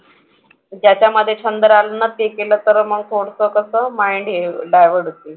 ज्याच्यामधे छंद राहील ना ते केलं तर मग थोडंसं कसं mind हे divert होतेय.